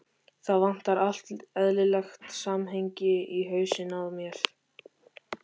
Það vantar allt eðlilegt samhengi í hausinn á þér.